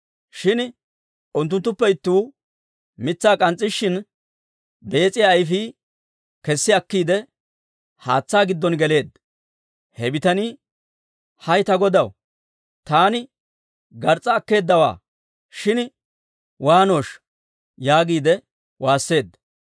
Shin unttunttuppe ittuu mitsaa k'ans's'ishiina, bees'iyaa ayfii kessi akkiide, haatsaa giddon geleedda. He bitanii, «hay ta godaw, taani gars's'a akkeeddawaa; shin waanooshsha!» yaagiide waasseedda.